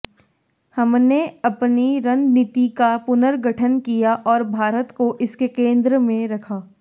हमने अपनी रणनीति का पुनर्गठन किया और भारत को इसके केंद्र में रखा